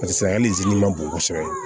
Paseke hali zi ma bon kosɛbɛ